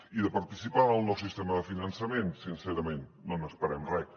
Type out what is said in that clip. i de participar en el nou sistema de finançament sincerament no n’esperem res